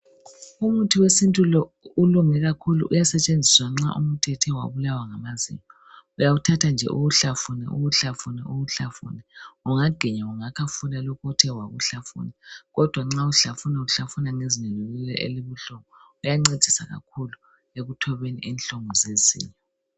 Umuthi wesintu lo ulunge kakhulu uyasetshenziswa nxa umuntu ethe wabulawa ngamazinyo uyawuthatha nje uwuhlafune uwuhlafune uwuhlafune , ungaginya ungakhafula lokho othe wakuhlafuna kodwa nxa ufahlufuna ufahluna ngezinyo lenalelo elibuhlungu uyancedisa kakhulu ekuthobeni inhlungu zezinyo